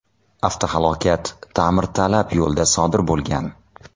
Avtohalokat ta’mirtalab yo‘lda sodir bo‘lgan.